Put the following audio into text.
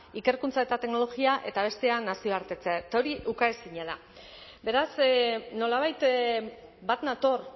ikerkuntza eta teknologia eta bestea nazioartekotzea eta hori ukaezina da beraz nolabait bat nator